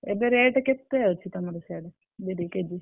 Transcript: ଏବେ rate କେ ତେ~ ଅଛି ତମର ସାଡେ ବିରି KG ?